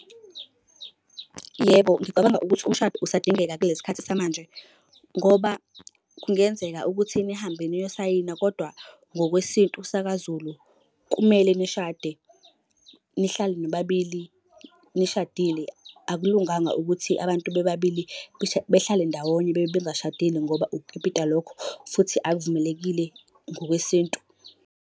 Yebo, ngicabanga ukuthi umshado usadingeka kulesi khathi samanje ngoba kungenzeka ukuthi nihambela niyosayina kodwa ngokwesintu sakaZulu kumele nishade nihlale nobabili nishadile. Akulunganga ukuthi abantu bebabili behlale ndawonye bebe bengashadile ngoba ukukipita lokho futhi akuvumelekile ngokwesintu.